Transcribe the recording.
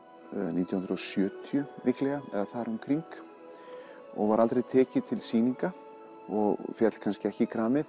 nítján hundruð og sjötíu líklega eða þar um kring og var aldrei tekið til sýninga og féll kannski ekki í kramið